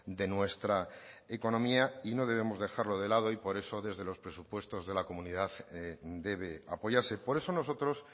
de nuestra economía y no debemos dejarlo de lado y por eso desde los presupuestos de la comunidad debe apoyarse por eso nosotros